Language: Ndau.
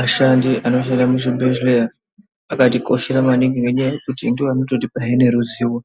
Aashandi anoshanda muzvibhehleya akatikoshera maningi ngenyaya yekuti ndiwo angatotipa he neruzivo